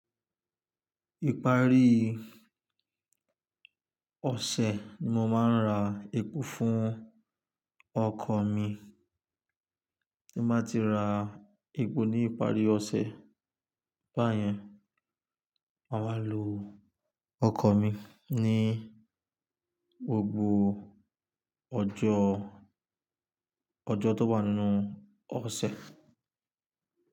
Ìparí ọ̀sẹ̀ ni mo máa ń ra epo fún ọkọ̀ mi. Ti mba ti ra epo ní ìparí ọ̀sẹ̀ báyẹn, mà wa lo ọkọ̀ mi ní gbogbo ọjọ́, ọjọ́ tó bá wa nù ọ̀sẹ̀.